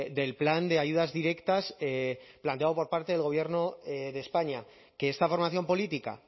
del plan de ayudas directas planteado por parte del gobierno de españa que esta formación política